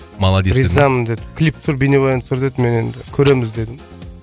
ризамын деді клип түсір бейнебаян түсір деді мен енді көреміз дедім